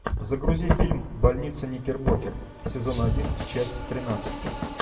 загрузи фильм больница никербокер сезон один часть тринадцать